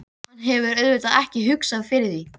Hann hefur auðvitað ekki hugsað fyrir því?